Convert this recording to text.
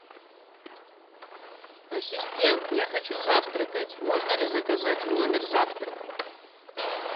ассистент я хочу завтракать можно ли заказать в номер завтрак